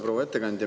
Proua ettekandja!